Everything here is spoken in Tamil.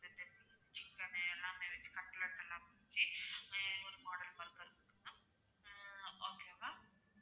சிக்கனு எல்லாமே வச்சி கட்லட் எல்லமே வச்சி ஒரு model burger உம் okay வா